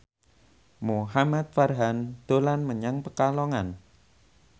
Muhamad Farhan dolan menyang Pekalongan